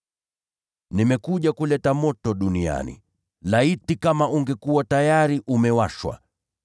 “Nimekuja kuleta moto duniani; laiti kama ungekuwa tayari umewashwa!